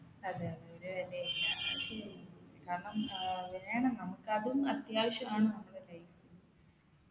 അതെ അതെ ഒരു വിലയില്ല അത് ശരിയാ കാരണം ഏർ വേണം നമ്മുക്കതും അത്യാവശ്യമാണ് നമ്മുടെ life ൽ